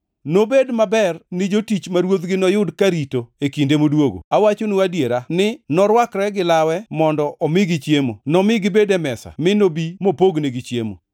Nobed maber ni jotich ma ruodhgi noyud karito e kinde modwogo. Awachonu adiera ni norwakre gi lawe mondo omigi chiemo, nomi gibed e mesa mi nobi mopognegi chiemo.